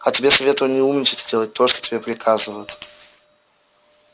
а тебе советую не умничать и делать то что тебе приказывают